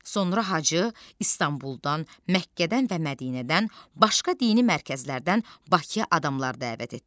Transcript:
Sonra Hacı İstanbuldan, Məkkədən və Mədinədən, başqa dini mərkəzlərdən Bakıya adamlar dəvət etdi.